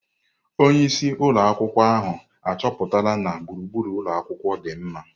Onye isi ụlọ akwụkwọ ahụ achọpụtala na gburugburu ụlọ akwụkwọ dị mma.